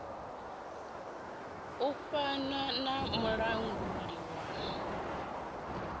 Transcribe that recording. u fana na mulanguli wa